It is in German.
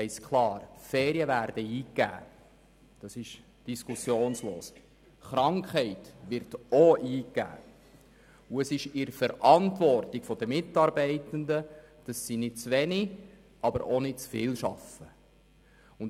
Es liegt in der Verantwortung der Mitarbeitenden, nicht zu wenig, aber auch nicht zu viel zu arbeiten.